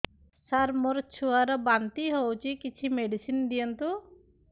ସାର ମୋର ଛୁଆ ର ବାନ୍ତି ହଉଚି କିଛି ମେଡିସିନ ଦିଅନ୍ତୁ